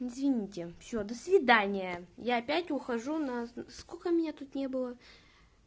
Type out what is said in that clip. извините всё до свидания я опять ухожу на сколько меня тут не было